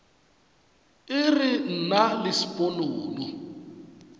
e re nna le sponono